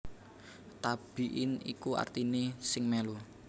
Tabi in iku artiné sing mèlu